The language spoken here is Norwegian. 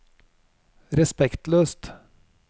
respektløst